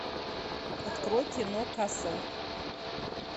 открой кино касл